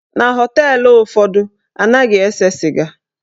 Na họteelụ ụfọdụ, anaghị ese sịga.